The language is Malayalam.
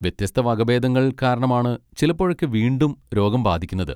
വ്യത്യസ്ത വകഭേദങ്ങൾ കാരണമാണ് ചിലപ്പോഴൊക്കെ വീണ്ടും രോഗം ബാധിക്കുന്നത്.